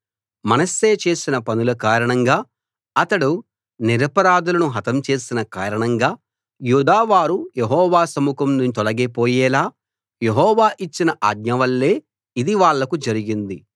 మనష్షే చేసిన పనుల కారణంగా అతడు నిరపరాధులను హతం చేసిన కారణంగా యూదావారు యెహోవా సముఖం నుంచి తొలగి పోయేలా యెహోవా ఇచ్చిన ఆజ్ఞ వల్లే ఇది వాళ్లకు జరిగింది